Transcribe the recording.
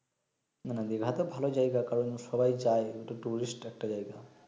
না না দিঘা তো ভালো জায়গা কারন সবাই যায় তা টুরিস্ট একটা জায়গা